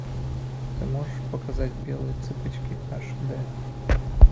ты можешь показать белые цыпочки аш дэ